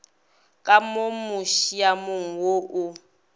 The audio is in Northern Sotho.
ka mo musiamong wo o